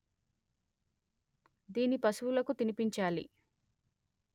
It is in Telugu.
దీన్ని పశువులకు తిని పించాలి